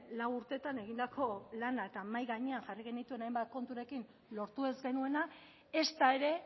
lau urtetan egindako lana eta mahai gainean jarri genituen hainbat konturekin lortu ez genuena ezta ere